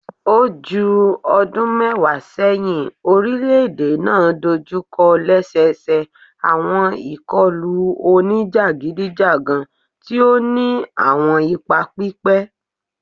O ju ọdun mẹwa sẹhin, orilẹ-ede naa dojukọ lẹsẹsẹ awọn ikọlu onijagidijagan ti o ni awọn ipa pipẹ